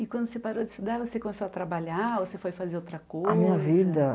E quando você parou de estudar, você começou a trabalhar ou você foi fazer outra coisa? A minha vida